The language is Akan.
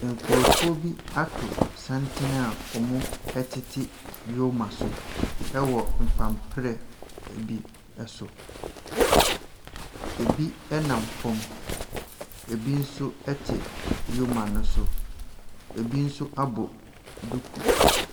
Nkrɔfoɔ bi ato santene a wɔtete yoma so wɔ mpamprɛ bi so. Ebi nam fam. Ebi nso te yoma no so. Ebi nso abɔ duku.